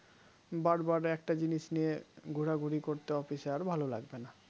বারবার একটা জিনিস নিয়ে ঘুরাঘুরি করতে office এ আর ভালো লাগবে না